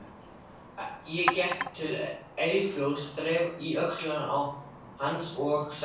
Ég gekk til Eyjólfs, þreif í öxl hans og sagði